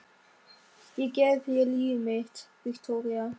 Ég gef þér líf mitt, Viktoría.